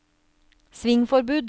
svingforbud